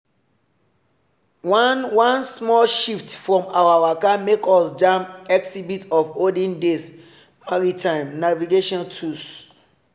one one small shift from our waka make us jam exhibit on olden days maritime navigation tools.